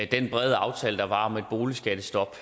den brede aftale der var om et boligskattestop